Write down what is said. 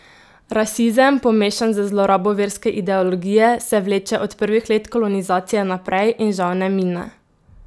Rasizem, pomešan z zlorabo verske ideologije, se vleče od prvih let kolonizacije naprej in žal ne mine.